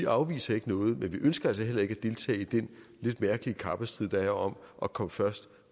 afviser noget men vi ønsker altså heller ikke at deltage i den lidt mærkelige kappestrid der er om at komme først